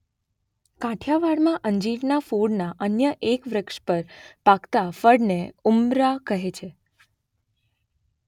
કાઠિયાવાડમાં અંજીરનાં કુળના અન્ય એક વૃક્ષ પર પાકતા ફળને ઉમરા કહે છે.